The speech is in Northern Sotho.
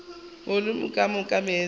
volumo ka moka ya meetse